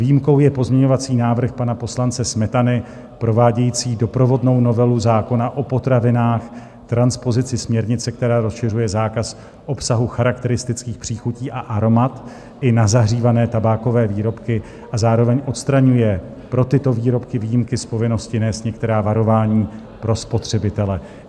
Výjimkou je pozměňovací návrh pana poslance Smetany, provádějící doprovodnou novelu zákona o potravinách, transpozici směrnice, která rozšiřuje zákaz obsahu charakteristických příchutí a aromat i na zahřívané tabákové výrobky a zároveň odstraňuje pro tyto výrobky výjimky z povinnosti nést některá varování pro spotřebitele.